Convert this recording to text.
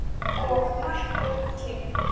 Og Matt og Kim?